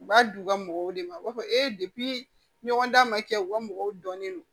U b'a di u ka mɔgɔw de ma u b'a fɔ ɲɔgɔn dan ma kɛ u ka mɔgɔw dɔnnen don